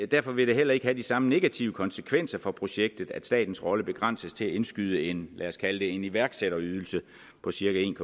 derfor vil det heller ikke have de samme negative konsekvenser for projektet at statens rolle begrænses til at indskyde en lad os kalde det iværksætterydelse på cirka en